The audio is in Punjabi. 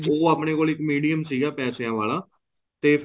ਉਹ ਆਪਣੇ ਕੋਲ ਇੱਕ medium ਸੀਗਾ ਪੈਸਿਆ ਵਾਲਾ ਤੇ